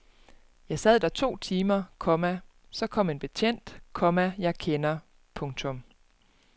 Jeg sad der to timer, komma så kom en betjent, komma jeg kender. punktum